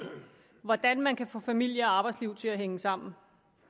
hvordan man kan få familie og arbejdsliv til at hænge sammen